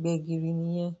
gbẹ̀gìrì nìyẹn.